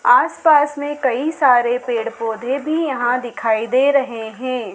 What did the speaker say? आसपास में कई सारे पेड़ पौधे भी यहां दिखाई दे रहे हैं।